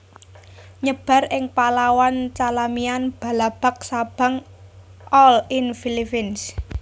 Nyebar ing Palawan Calamian Balabac Sabang all in Philippines